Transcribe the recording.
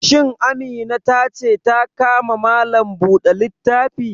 Shin Amina ta ce ta ka ma Malam buɗe littafi?